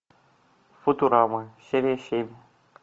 футурама серия семь